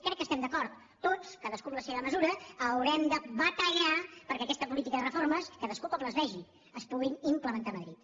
crec que hi estem d’acord tots cadascú en la seva mesura haurem de batallar perquè aquesta política de reformes cadascú com les vegi es pugui implementar a madrid